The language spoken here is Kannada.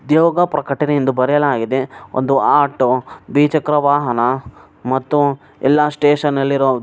ದೇವಕಾ ಪ್ರಕಟಣೆ ಎಂದು ಬರೆಯಲಾಗಿದೆ ಒಂದು ಆಟೋ ದ್ವಿಚಕ್ರ ವಾಹನ ಮತ್ತು ಎಲ್ಲ ಸ್ಟೇಷನ್ ಅಲ್ಲಿರೋ --